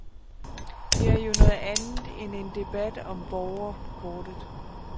Det er jo noget andet end en debat om borgerkortet.